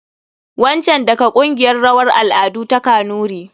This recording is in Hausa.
Wancan daga kungiyar rawan al'adu ta kanuri.